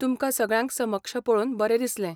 तुमकां सगळ्यांक समक्ष पळोवन बरें दिसलें.